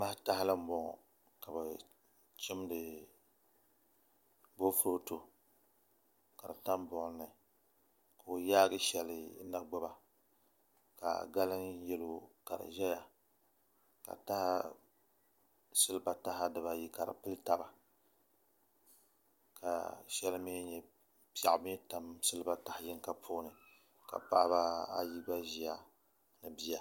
Ka bi chimdi boofurooto ka di tam buɣum ni ka o yaagi shɛli n na gbuba ka galiŋ yɛlo ka di ʒɛya ka silba taha ayi ka di pili taba ka piɛɣu mii tam silba taha yinga puuni ka paɣaba ayi gba ʒiya ni bia